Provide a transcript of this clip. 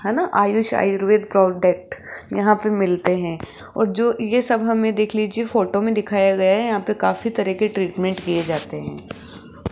हैं न आयुष आयुर्वेद प्रोडक्ट यहां पे मिलते हैं और जो ये सब हमें देख लीजिए फोटो में दिखाया गया है यहां पे काफी तरह के ट्रीटमेंट किए जाते हैं।